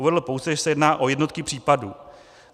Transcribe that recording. Uvedl pouze, že se jedná o jednotky případů.